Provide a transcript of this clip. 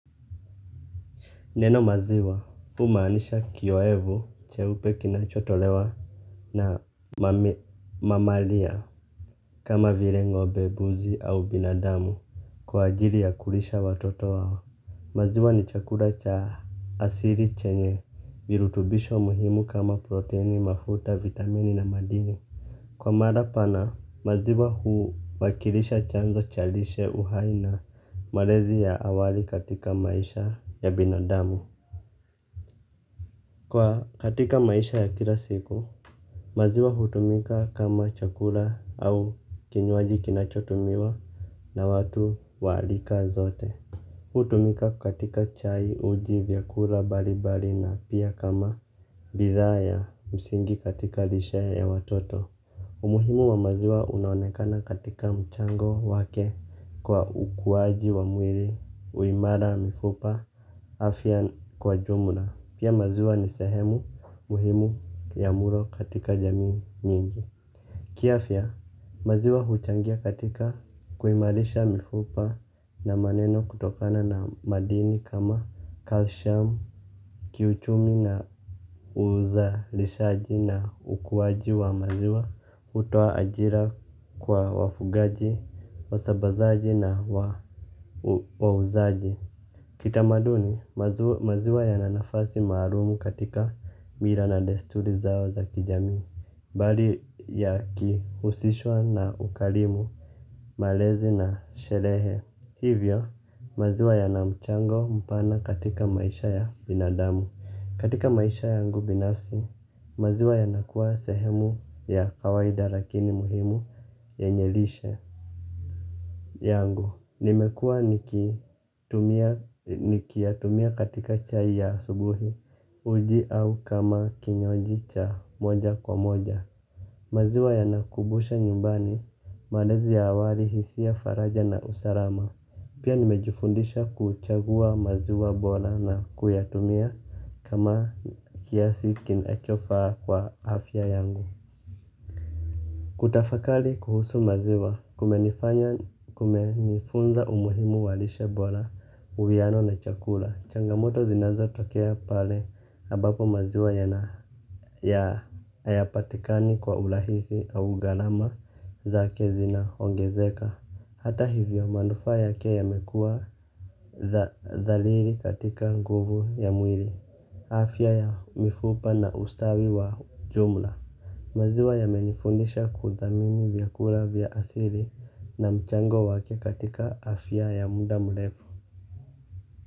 Neno maziwa humaanisha kiyoevu cheupe kinachotolewa na mamalia kama vile ng'ombe mbuzi au binadamu kwa ajili ya kulisha watoto wao. Maziwa ni chakula cha asili chenye virutubisho muhimu kama proteini mafuta, vitamini na madini. Kwa mara pana maziwa huwakilisha chanzo cha lishe uhai na malezi ya awali katika maisha ya binadamu. Kwa katika maisha ya kila siku maziwa hutumika kama chakula au kinywaji kinachotumiwa na watu wa rika zote. Hutumika katika chai uji vyakula mbalimbali na pia kama bidhaa ya msingi katika lishe ya watoto. Umuhimu wa maziwa unaonekana katika mchango wake kwa ukuwaji wa mwili uimara mifupa afya kwa jumla pia maziwa ni sehemu muhimu ya mlo katika jamii nyingi. Kiafya, maziwa huchangia katika kuimarisha mifupa na maneno kutokana na madini kama calcium. Kiuchumi na uzalishaji na ukuwaji wa maziwa hutoa ajira kwa wafugaji, wasambazaji na wauzaji. Kitamaduni, maziwa yana nafasi maalumu katika mila na desturi zao za kijami. Bali yakihusishwa na ukarimu, malezi na sherehe hivyo, maziwa yana mchango mpana katika maisha ya binadamu. Katika maisha yangu binafsi, maziwa yanakuwa sehemu ya kawaida lakini muhimu yenye lishe. Yangu, nimekuwa nikitumia nikiyatumia katika chai ya asubuhi uji au kama kinywaji cha moja kwa moja. Maziwa yanakumbusha nyumbani, malezi ya awali hisia faraja na usalama. Pia nimejufundisha kuchagua maziwa bora na kuyatumia kama kiasi kinachofaa kwa afya yangu. Kutafakari kuhusu maziwa kumenifanya kumenifunza umuhimu wa lishe bora uwiano na chakula. Changamoto zinaanza tokea pale ambapo maziwa yana ya hayapatikani kwa urahisi au gharama zake zinaongezeka. Hata hivyo manufaa yake yamekuwa dhaliri katika nguvu ya mwili. Afya ya mifupa na ustawi wa jumla maziwa yamenifundisha kuthamini vyakula vya asili na mchango wake katika afya ya muda mrefu.